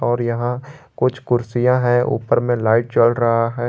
और यहां कुछ कुर्सियां है ऊपर में लाइट जल रहा है।